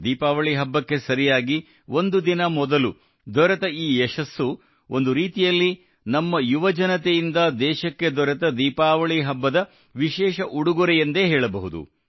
ದೀಪಾವಳಿ ಹಬ್ಬಕ್ಕೆ ಸರಿಯಾಗಿ ಒಂದು ದಿನ ಮೊದಲು ದೊರೆತ ಈ ಯಶಸ್ಸು ಒಂದು ರೀತಿಯಲ್ಲಿ ನಮ್ಮ ಯುವಜನತೆಯಿಂದ ದೇಶಕ್ಕೆ ದೊರೆತ ದೀಪಾವಳಿ ಹಬ್ಬದ ವಿಶೇಷ ಉಡುಗೊರೆ ಎಂದೇ ಹೇಳಬಹುದು